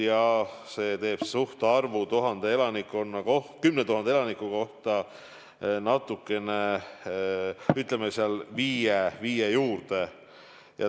Haigestumise määr 10 000 elaniku kohta on natukene üle 5.